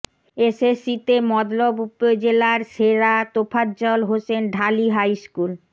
এসএসসিতে মতলব উপজেলার সেরা তোফাজ্জল হোসেন ঢালী হাই স্কুল